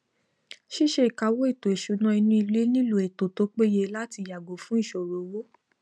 síse ìkáwó ètò ìsúnà inú ilé nílò ètò tó pe ye láti yàgò fun ìsòrò owó